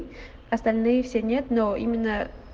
остальные все нет но именно